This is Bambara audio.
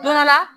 Don dɔ la